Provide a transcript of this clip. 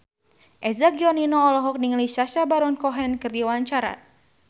Eza Gionino olohok ningali Sacha Baron Cohen keur diwawancara